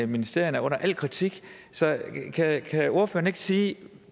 ministerierne er under al kritik så kan ordføreren ikke sige